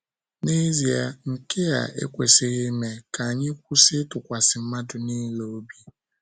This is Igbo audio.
N’ezie, nke a ekwesịghị ime, ka anyị kwụsị ịtụkwasị mmadụ nile obi.